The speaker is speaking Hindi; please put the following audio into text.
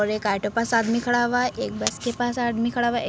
और एक ऑटो पास आदमी खड़ा हुआ है। एक बस के पास आदमी खड़ा हुआ है। एक --